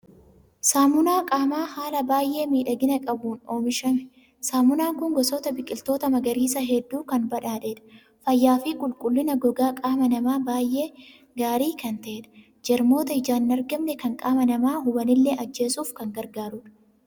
Saamunaa qaamaa haala baay'ee miidhagina qabuun oomishame. Saamunaan kun gosoota biqiltoota magariisaa hedduun kan badhaadhedha. Fayyaa fi qulqullina gogaa qaama namaa baay'ee gaarii kan ta'edha. Jarmoota ijaan hin argamne kan qaama namaa hubanillee ajjeesuuf kan gargaarudha.